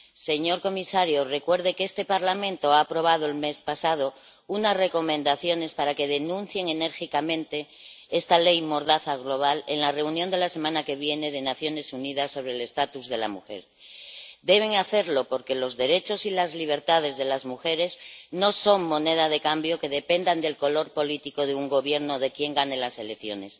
Señor comisario, recuerde que este Parlamento ha aprobado el mes pasado unas recomendaciones para que denuncien enérgicamente esta ley mordaza global en la reunión de la semana que viene de las Naciones Unidas sobre la condición jurídica y social de la mujer. Deben hacerlo, porque los derechos y las libertades de las mujeres no son moneda de cambio que dependa del color político de un gobierno o de quién gane las elecciones.